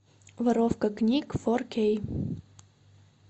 воровка книг фор кей